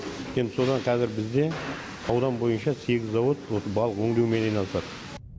енді содан қазір бізде аудан бойынша сегіз завод осы балық өңдеумен айналысады